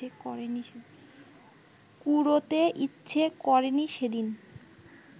কুড়োতে ইচ্ছে করেনি সেদিন